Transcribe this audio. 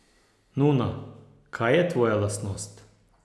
Nuna, kaj je tvoja lastnost?